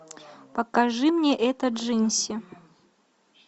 покажи мне это джинси